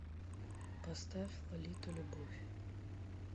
поставь лолиту любовь